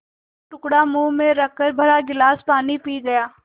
एक टुकड़ा मुँह में रखकर भरा गिलास पानी पी गया